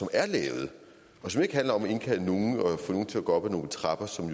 er lavet og som ikke handler om at indkalde nogle og få nogle til at gå op ad nogle trapper som